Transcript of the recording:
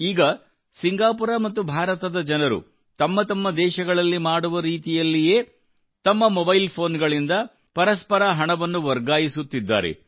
ಈಗ ಸಿಂಗಾಪುರ ಮತ್ತು ಭಾರತದ ಜನರು ತಮ್ಮ ತಮ್ಮ ದೇಶಗಳಲ್ಲಿ ಮಾಡುವ ರೀತಿಯಲ್ಲಿಯೇ ತಮ್ಮ ಮೊಬೈಲ್ ಫೋನ್ಗಳಿಂದ ಪರಸ್ಪರ ಹಣವನ್ನು ವರ್ಗಾಯಿಸುತ್ತಿದ್ದಾರೆ